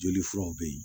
Joli furaw bɛ ye